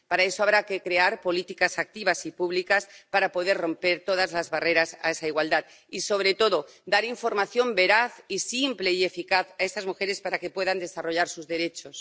Para eso habrá que crear políticas activas y públicas para poder romper todas las barreras a esa igualdad y, sobre todo, dar información veraz, simple y eficaz a estas mujeres para que puedan desarrollar sus derechos.